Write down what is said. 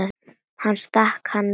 Ég stakk hann líka.